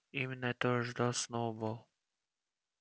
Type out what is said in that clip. именно этого и ждал сноуболл